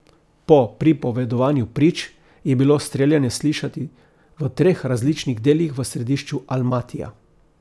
Po pripovedovanju prič je bilo streljanje slišati v treh različnih delih v središču Almatija.